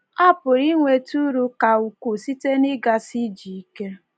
A pụrụ inweta uru ka ukwuu site n’ịgasi ije ike.